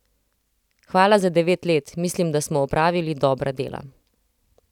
Hvala za devet let, mislim, da smo opravili dobra dela.